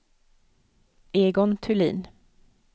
Egon Thulin